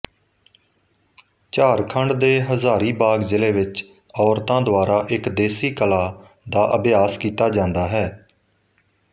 ਝਾਰਖੰਡ ਦੇ ਹਜ਼ਾਰੀਬਾਗ ਜ਼ਿਲੇ ਵਿਚ ਔਰਤਾਂ ਦੁਆਰਾ ਇਕ ਦੇਸੀ ਕਲਾ ਦਾ ਅਭਿਆਸ ਕੀਤਾ ਜਾਂਦਾ ਹੈ